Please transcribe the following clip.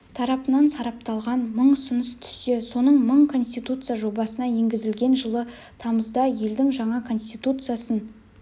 тарапынан сарапталған мың ұсыныс түссе соның мың конституция жобасына енгізілген жылы тамызда елдің жаңа конституциясын